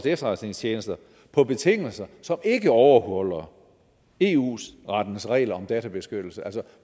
efterretningstjeneste på betingelser som ikke overholder eu rettens regler om databeskyttelse altså